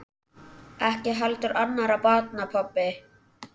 Ekki heldur annarra barna pabbi.